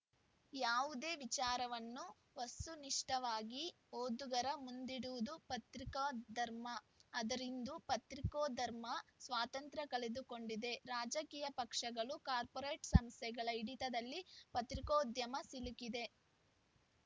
ಯಾವುದೇ ವಿಚಾರವನ್ನು ವಸ್ತುನಿಷ್ಠವಾಗಿ ಓದುಗರ ಮುಂದಿಡುವುದು ಪತ್ರಿಕಾ ಧರ್ಮ ಆದರಿಂದು ಪತ್ರಿಕೋಧರ್ಮ ಸ್ವಾತಂತ್ರ್ಯ ಕಳೆದುಕೊಂಡಿದೆ ರಾಜಕೀಯ ಪಕ್ಷಗಳು ಕಾರ್ಪೋರೆಟ್‌ ಸಂಸ್ಥೆಗಳ ಹಿಡಿತದಲ್ಲಿ ಪತ್ರಿಕೋದ್ಯಮ ಸಿಲುಕಿದೆ